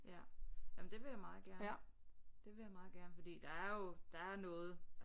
Ja jamen det vil jeg meget gerne det vil jeg meget gerne fordi der er jo der er noget